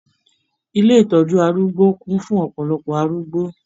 Ilé ìtọjú arúgbó kún fún ọpọlọpọ arúgbó.